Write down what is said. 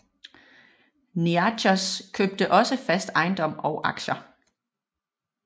Niarchos købte også fast ejendom og aktier